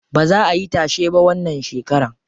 Baza ayi tashe ba wannan shekaran.